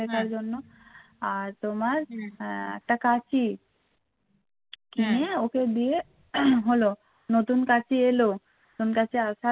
নতুন কাচি এল নতুন কাচি আসার